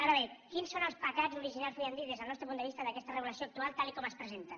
ara bé quins són els pecats originals podríem dir des del nostre punt de vista d’aquesta regulació actual tal com es presenta